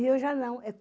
E eu já não.